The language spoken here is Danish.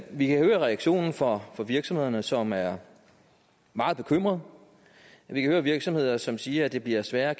vi kan høre reaktionen fra fra virksomhederne som er meget bekymrede vi kan høre virksomheder som siger at det bliver sværere at